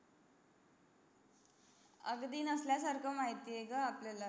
अगदी नसल्या सारख माहीत आहे ग आपल्याला